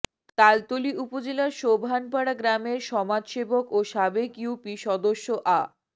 তালতলী উপজেলার সোবহানপাড়া গ্রামের সমাজসেবক ও সাবেক ইউপি সদস্য আ